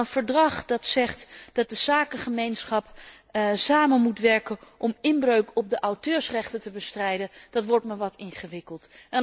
Maar een verdrag dat zegt dat de zakengemeenschap moet samenwerken om inbreuk op de auteursrechten te bestrijden, dat wordt me wat ingewikkeld.